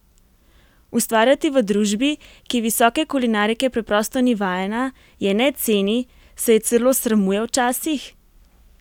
Ustvarjati v družbi, ki visoke kulinarike preprosto ni vajena, je ne ceni, se je celo sramuje včasih?